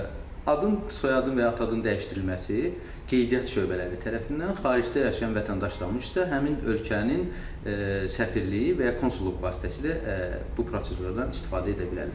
Adın, soyadın və ya ata adının dəyişdirilməsi qeydiyyat şöbələri tərəfindən, xaricdə yaşayan vətəndaşlar üçün isə həmin ölkənin səfirliyi və ya konsulluq vasitəsilə bu prosedurdan istifadə edə bilərlər.